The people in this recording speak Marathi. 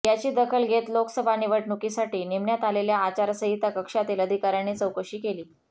याची दखल घेत लोकसभा निवडणुकीसाठी नेमण्यात आलेल्या आचारसंहिता कक्षातील अधिकाऱ्यांनी चौकशी केली